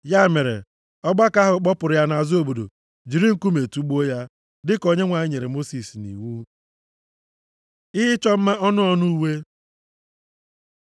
Ya mere, ọgbakọ ahụ kpọpụrụ ya nʼazụ obodo jiri nkume tugbuo ya, dịka Onyenwe anyị nyere Mosis nʼiwu. Ihe ịchọ mma ọnụ ọnụ uwe